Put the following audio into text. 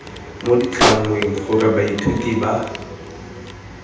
mo ditlhangweng gore baithuti ba